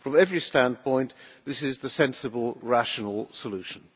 From every standpoint, this is the sensible, rational solution.